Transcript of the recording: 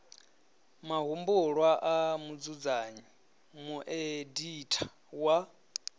mahumbulwa a mudzudzanyi mueditha wa